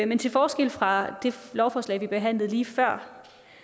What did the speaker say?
men til forskel fra det lovforslag vi behandlede lige før